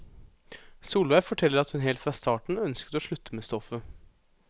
Solveig forteller at hun helt fra starten ønsket å slutte med stoffet.